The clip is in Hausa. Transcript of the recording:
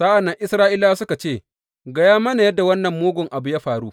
Sa’an nan Isra’ilawa suka ce, Gaya mana yadda wannan mugun abu ya faru.